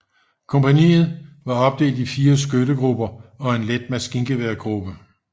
Kompagniet var opdelt i fire skyttegrupper og en let maskingeværgruppe